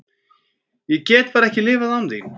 Ég get bara ekki lifað án þín.